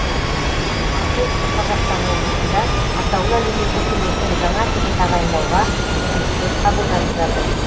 ал солтүстік қазақстан облысында атаулы әлеуметтік көмектің жаңа түрін тағайындауға өтініштер қабылданып жатыр